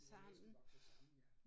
De er næsten vokset sammen ja